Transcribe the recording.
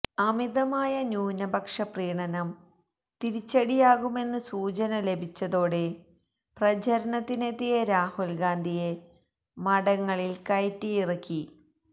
അമിതമായ ന്യൂനപക്ഷ പ്രീണനം തിരിച്ചടിയാകുമെന്ന് സൂചന ലഭിച്ചതോടെ പ്രചാരണത്തിനെത്തിയ രാഹുല് ഗാന്ധിയെ മഠങ്ങളില് കയറ്റിയിറക്കി